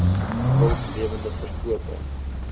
wild lewende verkope